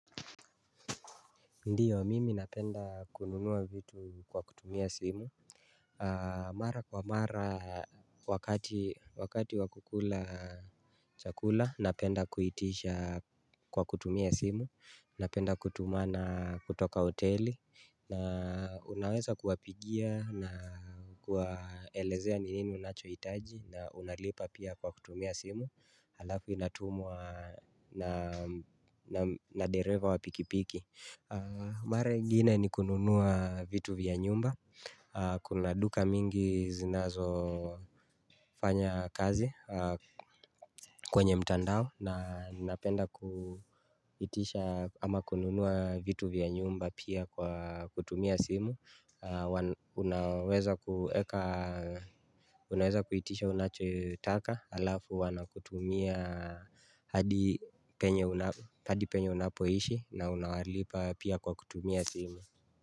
Ndiyo, mimi napenda kununua vitu kwa kutumia simu. Mara kwa mara Wakati, wakati wa kukula chakula, napenda kuitisha kwa kutumia simu. Napenda kutumana kutoka hoteli na Unaweza kuwapigia na kuwaelezea ni nini unachohitaji. Na unalipa pia kwa kutumia simu. Halafu inatumwa na dereva wa pikipiki. Mara ingine ni kununua vitu vya nyumba. Kuna duka mingi zinazofanya kazi kwenye mtandao. Na napenda kuitisha ama kununua vitu vya nyumba pia kwa kutumia simu. Unaweza kuitisha unachotaka alafu wanakutumia. Hadi penye unapoishi na unawalipa pia kwa kutumia simu.